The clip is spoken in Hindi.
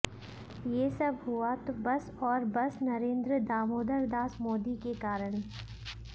ये सब हुआ तो बस और बस नरेंद्र दामोदरदास मोदी के कारण